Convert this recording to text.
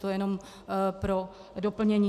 To jenom pro doplnění.